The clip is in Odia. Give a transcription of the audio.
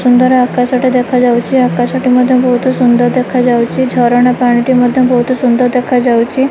ସୁନ୍ଦର ଆକାଶ ଟିଏ ଦେଖାଯାଉଛି ଆକାଶ ଟି ଏ ମଧ୍ୟ ବହୁତ୍ ସୁନ୍ଦର ଦେଖାଯାଉଛି ଝରଣା ପାଣି ଟି ଭି ବହୁତ୍ ସୁନ୍ଦର ଦେଖାଯାଉଚି।